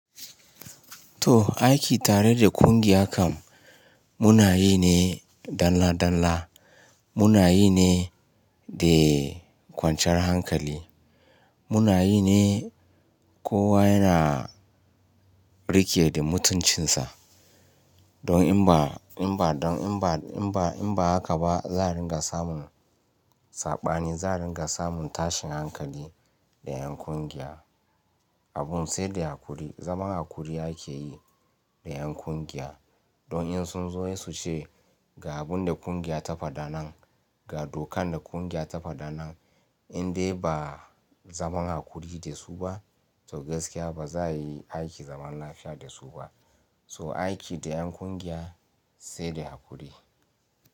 To aiki tare da ƙungiya kam munayi ne dalla dalla, munayi ne de kwanciyar hankali, munayi ne kowa yana rike da mutuncinsa. Don in ba, in ba, don in ba, in ba, in ba haka ba za a ringa samun saɓani, za a ringa samun tashin hankali da ƴan ƙungiya. Abun sai da hakuri, zaman hakuri ake yi da ƴan ƙungiya. Don in sun zo in su ce ga abun da ƙungiya ta faɗa nan, ga dokan da ƙungiya ta faɗa nan, in dai ba zaman hakuri da su ba to gaskiya ba za a yi aiki zaman lafiya da su ba. To aiki da ƴan ƙungiya sai da hakuri.